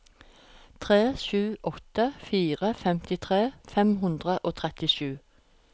tre sju åtte fire femtitre fem hundre og trettisju